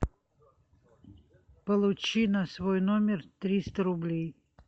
получи на свой номер триста рублей